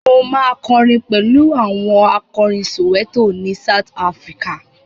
Mo ma kọrin pẹ̀lú áwọn akọrin Soweto ni South Africa.